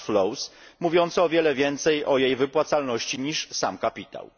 cashflows mówiące o wiele więcej o jej wypłacalności niż sam kapitał.